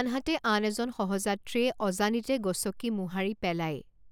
আনহাতে আন এজন সহযাত্ৰীয়ে অজানিতে গচকি মোহাৰি পেলায়।